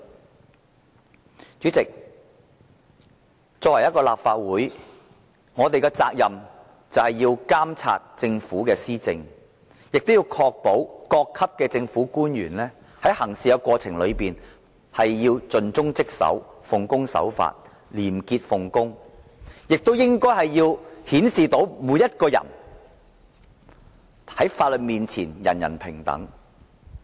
代理主席，作為立法會議員，我們有責任監察政府施政，確保各級政府官員在行事過程中盡忠職守、奉公守法、廉潔奉公，顯示出法律面前人人平等。